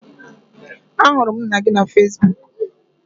Ahụrụ m nna gị na Fesbuk